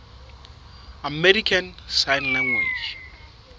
american sign language